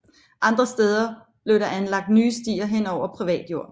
Andre steder blev der anlagt nye stier hen over privat jord